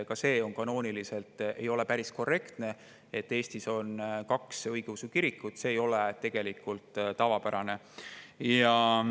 Ka see ei ole kanooniliselt päris korrektne, et Eestis on kaks õigeusu kirikut, see ei ole tegelikult tavapärane.